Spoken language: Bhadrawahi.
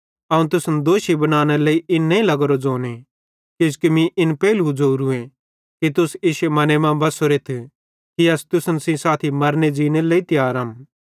अवं तुसन दोषी बनानेरे लेइ इन नईं लग्गोरो ज़ोने किजोकि मीं इन पेइलू ज़ोरूए कि तुस इश्शे मने मां बसोरेथ कि अस तुसन साथी मरने ज़ीनेरे लेइ तियारम